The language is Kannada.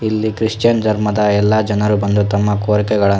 ಇಲ್ಲಿ ಕ್ರಿಶ್ಚಿಯನ್ ಧರ್ಮದ ಎಲ್ಲ ಜನರು ಬಂದು ತಮ್ಮ ಕೋರಿಕೆಗಳ --